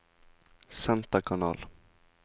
senterkanal